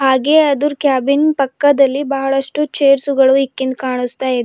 ಹಾಗೆ ಅದುರ್ ಕ್ಯಾಬಿನ್ ಪಕ್ಕದಲ್ಲಿ ಬಹಳಷ್ಟು ಚೇರ್ ಗಳು ಇಕ್ಕಿನ್ದ್ ಕಾಣಿಸ್ತಾ ಇದೆ.